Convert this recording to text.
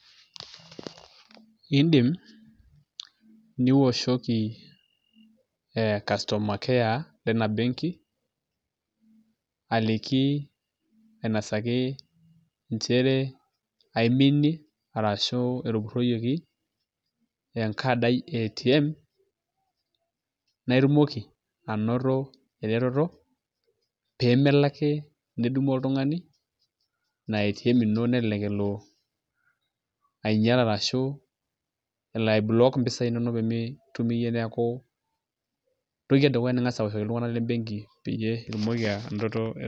Iindim niwoshoki ee customer care lina benki aliki ainasaki nchere aiminie arashu etupurroyieki enkad ai e ATM naa itumoki anoto eretoto pee melo ake nedumu oltung'ani ina ATM ino nelelek elo ainyial arashu aiblock impisaai inonok pee mitum iyie neeku entoki edukuya ning'as aoshoki iltung'anak le benki peyie itumoki anoto eretoto.